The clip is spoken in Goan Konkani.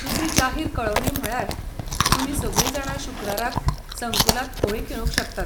दुसरी जाहीर कळवणी म्हळ्यार, तुमी सगळीं जाणां शुक्राराक संकुलांत होळी खेळूंक शकतात.